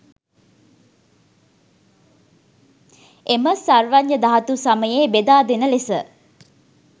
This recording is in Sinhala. එම සර්වඥධාතු සමසේ බෙදා දෙන ලෙස